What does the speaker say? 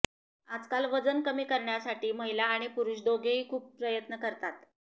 आजकाल वजन कमी करण्यासाठी महिला आणि पुरूष दोघेही खुप प्रयत्न करतात